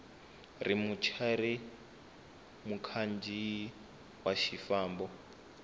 ri muchayeri mukhandziyi wa xifambo